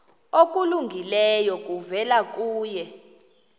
okulungileyo kuvela kuye